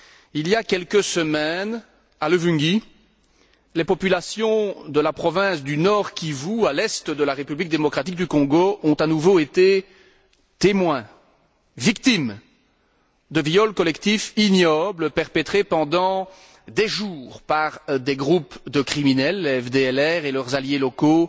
Il y a quelques semaines, à Luvungi, les populations de la province du Nord Kivu, à l'Est de la République démocratique du Congo, ont à nouveau été témoins, victimes, de viols collectifs ignobles perpétrés pendant des jours par des groupes de criminels, les FDLR et leurs alliés locaux,